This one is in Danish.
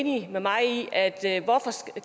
det